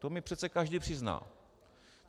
To mně přece každý přizná.